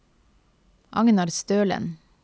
Agnar Stølen